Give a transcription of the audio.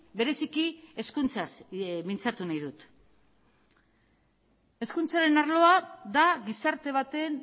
bereziki hezkuntzaz mintzatu nahi dut hezkuntzaren arloa da gizarte baten